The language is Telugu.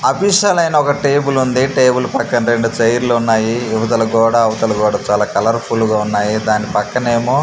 అఫిషియల్ అయిన ఒక టేబుల్ ఉంది టేబుల్ పక్కన రెండు చైర్ లు ఉన్నాయి ఇవతల గోడ అవతల గోడ చాలా కలర్ఫుల్ గా ఉన్నాయి దాని పక్కనేమో --